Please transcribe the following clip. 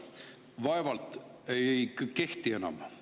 See "vaevalt" ei kehti enam.